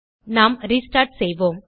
நாம் ரெஸ்டார்ட் செய்வோம்